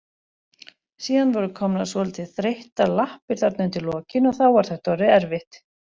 Síðan voru komnar svolítið þreyttar lappir þarna undir lokin og þá var þetta orðið erfitt.